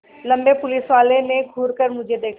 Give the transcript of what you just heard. लम्बे पुलिसवाले ने घूर कर मुझे देखा